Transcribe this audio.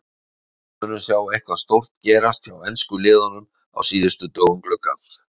Munum við sjá eitthvað stórt gerast hjá ensku liðunum á síðustu dögum gluggans?